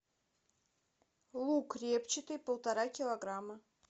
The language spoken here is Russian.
лук репчатый полтора килограмма